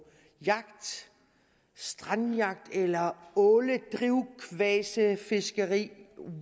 jagt strandjagt eller åledrivkvasefiskeri